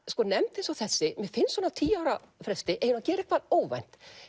nefnd eins og þessi mér finnst svona á tíu ára fresti eiga að gera eitthvað óvænt